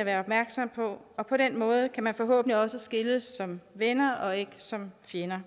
at være opmærksom på og på den måde kan man forhåbentlig også skilles som venner og ikke som fjender